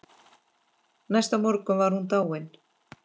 Næsta morgun var hún dáin.